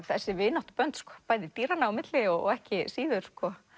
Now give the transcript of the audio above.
þessi vináttubönd bæði dýranna á milli og ekki síður